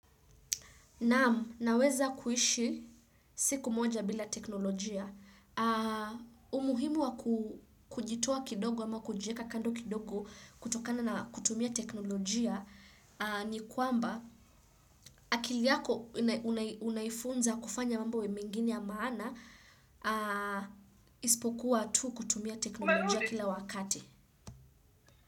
Naam, naweza kuishi siku moja bila teknolojia, umuhimu wa kujitoa kidogo ama kujieka kando kidogo kutokana na kutumia teknolojia ni kwamba akiliyako unaifunza kufanya mambo mengine ya maana isipokuwa tu kutumia teknolojia kila wakati.